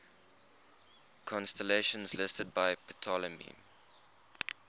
constellations listed by ptolemy